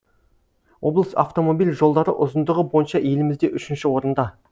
облыс автомобиль жолдары ұзындығы бойынша елімізде үшінші орында